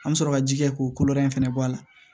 An bɛ sɔrɔ ka ji kɛ k'o kolo wɛrɛ fɛnɛ bɔ a la